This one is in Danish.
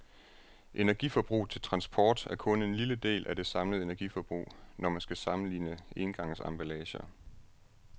Energiforbruget til transport er kun en lille del af det samlede energiforbrug, når man skal sammenligne engangsemballager.